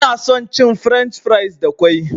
Ina son cin french fries da ƙwai.